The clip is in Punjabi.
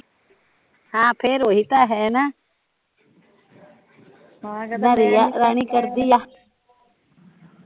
ਹਾਂ ਫਿਰ ਓਹੀ ਤਾਂ ਹੈ ਨਾ ਨਾ ਰੀਆ ਰਾਣੀ ਕਰਦੀ ਆ